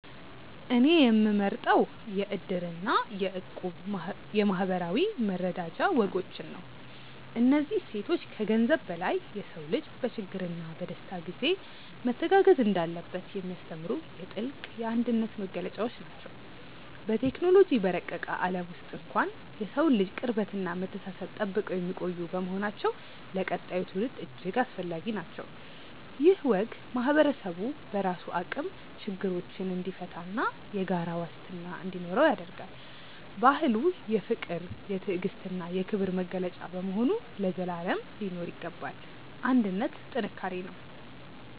እኔ የምመርጠው የ"እድር" እና የ"እቁብ" የማኅበራዊ መረዳጃ ወጎችን ነው። እነዚህ እሴቶች ከገንዘብ በላይ የሰው ልጅ በችግርና በደስታ ጊዜ መተጋገዝ እንዳለበት የሚያስተምሩ የጥልቅ አንድነት መገለጫዎች ናቸው። በቴክኖሎጂ በረቀቀ ዓለም ውስጥ እንኳን የሰውን ልጅ ቅርበትና መተሳሰብ ጠብቀው የሚቆዩ በመሆናቸው ለቀጣዩ ትውልድ እጅግ አስፈላጊ ናቸው። ይህ ወግ ማኅበረሰቡ በራሱ አቅም ችግሮችን እንዲፈታና የጋራ ዋስትና እንዲኖረው ያደርጋል። ባህሉ የፍቅር፣ የትዕግስትና የክብር መገለጫ በመሆኑ ለዘላለም ሊኖር ይገባል። አንድነት ጥንካሬ ነው።